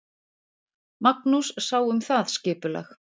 Magnús sá um það skipulag.